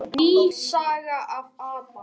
Ný saga af Adam.